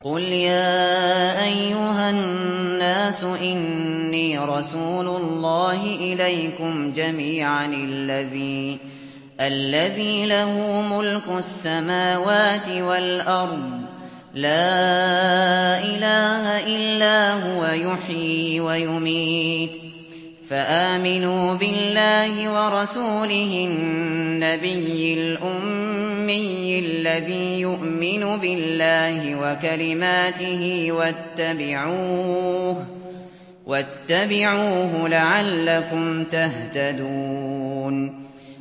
قُلْ يَا أَيُّهَا النَّاسُ إِنِّي رَسُولُ اللَّهِ إِلَيْكُمْ جَمِيعًا الَّذِي لَهُ مُلْكُ السَّمَاوَاتِ وَالْأَرْضِ ۖ لَا إِلَٰهَ إِلَّا هُوَ يُحْيِي وَيُمِيتُ ۖ فَآمِنُوا بِاللَّهِ وَرَسُولِهِ النَّبِيِّ الْأُمِّيِّ الَّذِي يُؤْمِنُ بِاللَّهِ وَكَلِمَاتِهِ وَاتَّبِعُوهُ لَعَلَّكُمْ تَهْتَدُونَ